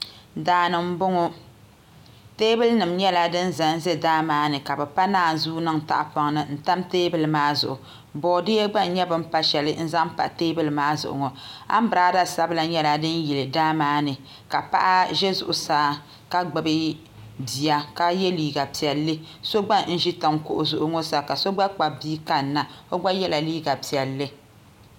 Daani n boŋo teebuli nim nyɛla din ʒɛnʒɛ daa maa ni ka bi pa naanzuu niŋ tahapoŋ ni n tam teebuli maa zuɣu boodiyɛ gba n nyɛ bin pa shɛli n zaŋ pa teebulu maa zuɣu anbirala sabila nyɛla din yili daa maa ni ka paɣa ʒɛ zuɣusaa ka gbubi bia ka yɛ liiga piɛlli so gba n ʒi tiŋ kuɣu zuɣu ŋo sa ka so gba kpabi bia kanna o gba yɛla liiga piɛlli